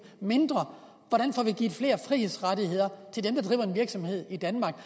mindre hvordan får vi givet flere frihedsrettigheder til dem der driver en virksomhed i danmark